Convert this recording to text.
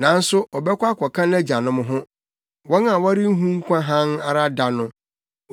nanso ɔbɛkɔ akɔka nʼagyanom ho, wɔn a wɔrenhu nkwa hann ara da no.